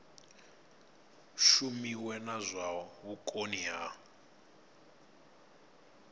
shumiwe na zwa vhukoni ha